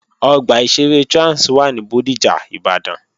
Ọgbà ìṣeré Trans wà ní Bódìjà, Ìbàdàn